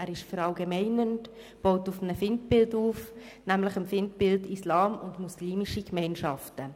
Er ist verallgemeinernd und baut auf einem Feindbild auf, nämlich dem Feindbild Islam und muslimische Gemeinschaften.